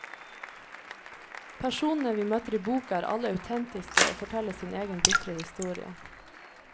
Personene vi møter i boka er alle autentiske og forteller sin egen bitre historie.